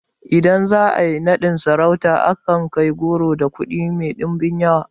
Idan za a yi naɗin sarauta ana kai goro da kuɗi mai ɗimbin yawa